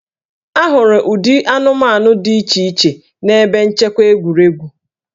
A hụrụ ụdị anụmanụ dị iche iche n'ebe nchekwa egwuregwu